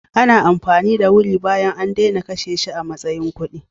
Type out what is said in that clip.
Ana ado da wuri bayan an daina kashe shi a matsayin kuɗi.